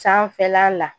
Sanfɛla la